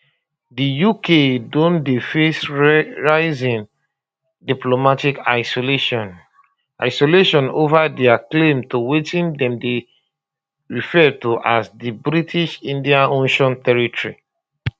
di uk don dey face rising diplomatic isolation isolation ova dia claim to wetin dem dey refer to as di british indian ocean territory